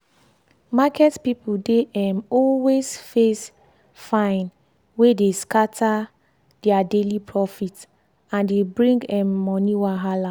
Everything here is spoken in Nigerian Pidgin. market people dey um always face fine wey dey scatter their daily profit and dey bring um money wahala.